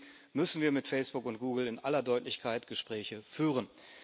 Deswegen müssen wir mit Facebook und Google in aller Deutlichkeit Gespräche führen.